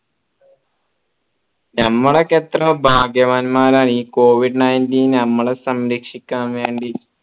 ഞമ്മളൊക്കെ എത്ര ഭാഗ്യവാന്മാരാ ഈ covid nineteen ഞമ്മളെ സംരക്ഷിക്കാൻ വേണ്ടി